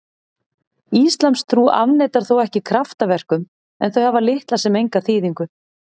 Íslamstrú afneitar þó ekki kraftaverkum en þau hafa litla sem enga þýðingu.